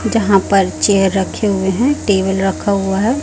जहाँ पर चेयर रखे हुए है टेबल रखा हुआ है।